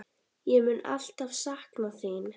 Ég mun alltaf sakna þín.